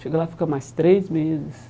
Chega lá, fica mais três meses.